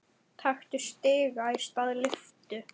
Taktu stiga í stað lyftu.